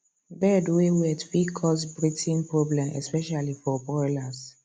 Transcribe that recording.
bed way wet fit cause breathing problem especially for broilers